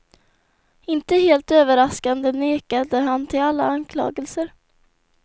Inte helt överraskande nekade han till alla anklagelser.